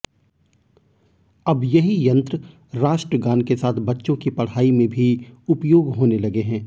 अब यही यंत्र राष्ट्रगान के साथ बच्चों की पढ़ाई में भी उपयोग होने लगे है